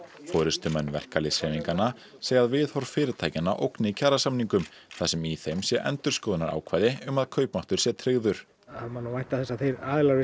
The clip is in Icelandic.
forystumenn verkalýðshreyfinga segja að viðhorf fyrirtækjanna ógni kjarasamningum þar sem í þeim sé endurskoðunarákvæði um að kaupmáttur sé tryggður það má nú vænta þess að þeir aðilar við